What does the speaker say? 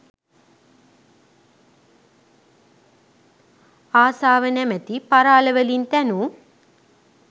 ආසාව නමැති පරාල වලින් තැනූ